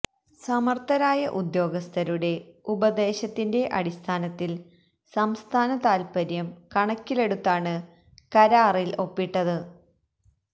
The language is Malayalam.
സമര്ത്ഥരായ ഉദ്യോഗസ്ഥരുടെ ഉപദേശത്തിന്റെ അടിസ്ഥാനത്തില് സംസ്ഥാന താത്പര്യം കണക്കിലെടുത്താണ് കരാറില് ഒപ്പിട്ടത്